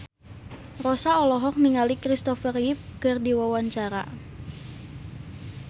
Rossa olohok ningali Christopher Reeve keur diwawancara